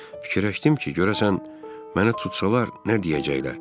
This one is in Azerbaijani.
Fikirləşdim ki, görəsən məni tutsalar nə deyəcəklər?